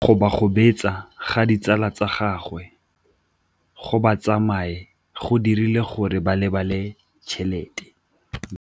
Go gobagobetsa ga ditsala tsa gagwe, gore ba tsamaye go dirile gore a lebale tšhelete.